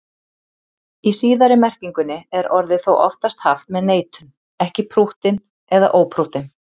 Í síðari merkingunni er orðið þó oftast haft með neitun, ekki prúttinn eða óprúttinn.